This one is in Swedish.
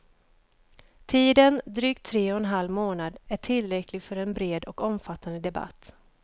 Tiden, drygt tre och en halv månad, är tillräcklig för en bred och omfattande debatt.